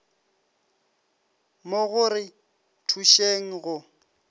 mo go re thušeng go